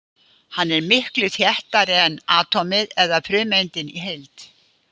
Hann er miklu þéttari en atómið eða frumeindin í heild.